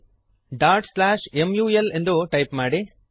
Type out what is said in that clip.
mul dot slash mul ಎಂದು type ಮಾಡಿರಿ